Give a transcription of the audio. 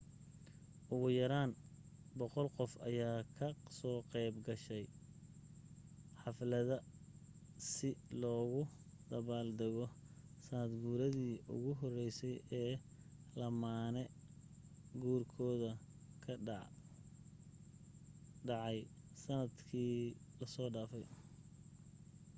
ugu yaraan 100 qof ayaa ka soo qeyb galay xaflada si loogu dabaal dago sanad guuridi ugu horeysay ee lamaane guurkoodu dhacay sanad kii laso dhafay